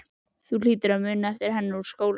Þú hlýtur að muna eftir henni úr skólanum?